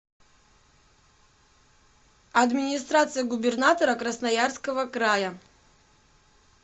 администрация губернатора красноярского края